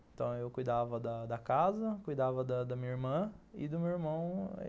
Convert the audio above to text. Então, eu cuidava da da casa, cuidava da minha irmã e do meu irmão.